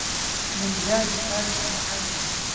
Ninjagi aad buu u macaan yahay.